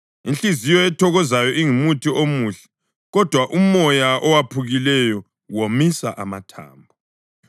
Inhliziyo ethokozayo ingumuthi omuhle, kodwa umoya owephukileyo womisa amathambo.